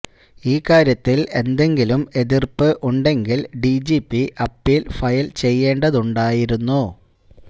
ഈ കാര്യത്തിൽ എന്തെങ്കിലും എതിർപ്പ് ഉണ്ടെങ്കിൽ ഡിജിപി അപ്പീൽ ഫയൽ ചെയ്യേണ്ടതുണ്ടായിരുന്നു